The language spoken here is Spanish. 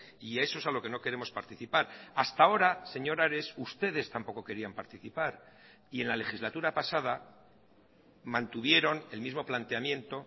y eso es a lo que no queremos participar hasta ahora señor ares ustedes tampoco querían participar y en la legislatura pasada mantuvieron el mismo planteamiento